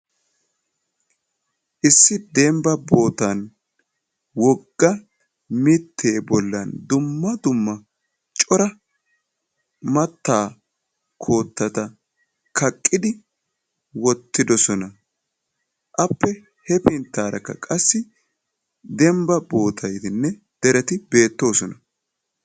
Issi dembba bootan wogga mitte bollan dumma dumma cora mattaa koottata kaqqidi wottidosona. Appe he pinttaarakka qassi dembba bootaynne dereti beettoosona.